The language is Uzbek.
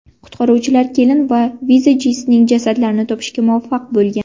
Qutqaruvchilar kelin va vizajistning jasadlarini topishga muvaffaq bo‘lgan.